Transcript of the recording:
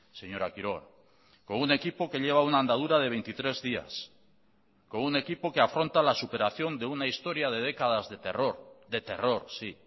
señora quiroga con un equipo que lleva una andadura de veintitrés días con un equipo que afronta la superación de una historia de décadas de terror de terror sí